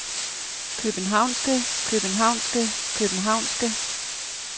københavnske københavnske københavnske